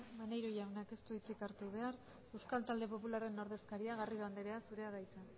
maneiro jaunak ez du hitzik hartu behar euskal talde popularraren ordezkaria garrido anderea zurea da hitza